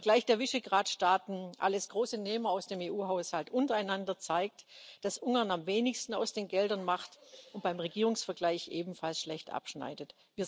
Der Vergleich der Visegrad Staaten alles große Nehmer aus dem EU Haushalt untereinander zeigt, dass Ungarn am wenigsten aus den Geldern macht und beim Regierungsvergleich ebenfalls schlecht abschneidet.